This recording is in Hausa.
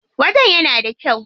Wajen yana da kyau.